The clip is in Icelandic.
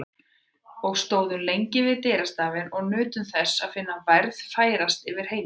Og stóðum lengi við dyrastafinn og nutum þess að finna værðina færast yfir heimilið.